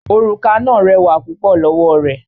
Òrùka náà rẹwà púpọ̀ lọ́wọ́ rẹ̀